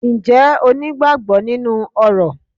Ǹjẹ́ o ní ìgbàgbọ nínú orò?